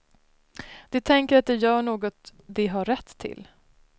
De tänker att de gör något de har rätt till.